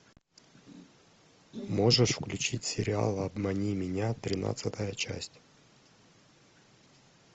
можешь включить сериал обмани меня тринадцатая часть